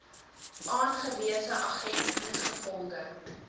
aangewese agent ingevolge